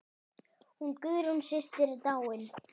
Hún Guðrún systir er dáin.